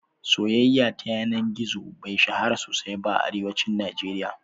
Soyaya ta yana gizo bai shahara sosai ba a Arewacin Najeriya